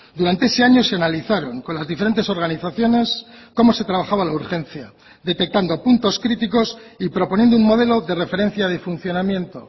durante ese año se analizaron con las diferentes organizaciones cómo se trabajaba la urgencia detectando puntos críticos y proponiendo un modelo de referencia de funcionamiento